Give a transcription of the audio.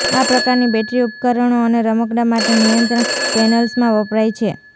આ પ્રકારની બેટરી ઉપકરણો અને રમકડાં માટે નિયંત્રણ પેનલ્સમાં વપરાય છે